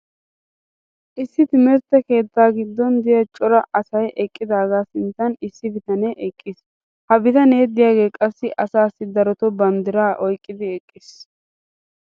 issi timirtte keettaa giddon diya cora asay eqqidaaga sinttan issi bitanee eqqiis. ha bitanee diyaagee qassi asaassi darotoo banddiraa oyqqidi eqqiis.